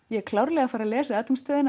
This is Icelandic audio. ég er klárlega að fara að lesa